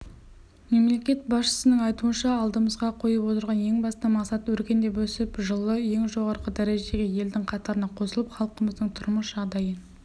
мемлекет басшысының айтуынша алдымызға қойып отырған ең басты мақсат өркендеп өсіп жылы ең жоғары дәрежедегі елдің қатарына қосылып халқымыздың тұрмыс жағдайын